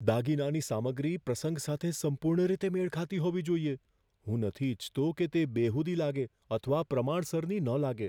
દાગીનાની સામગ્રી પ્રસંગ સાથે સંપૂર્ણ રીતે મેળ ખાતી હોવી જોઈએ. હું નથી ઈચ્છતો કે તે બેહુદી લાગે અથવા પ્રમાણસરની ન લાગે.